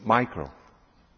Herr Präsident!